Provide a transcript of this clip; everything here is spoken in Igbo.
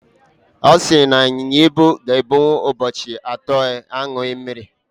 Ọ sị na ịnyịnya ibu ga-ebinwu ụbọchị atọ na-aṅụghị mmiri.